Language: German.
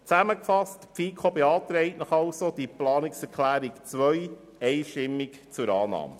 Zusammengefasst beantragt Ihnen die FiKo die Planungserklärung 2 einstimmig zur Annahme.